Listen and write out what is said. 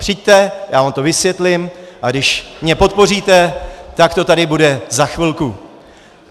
Přijďte, já vám to vysvětlím, a když mě podpoříte, tak to tady bude za chvilku.